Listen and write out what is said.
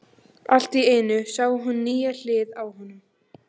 Allt í einu sá hún nýja hlið á honum.